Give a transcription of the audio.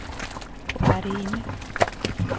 Kwarinik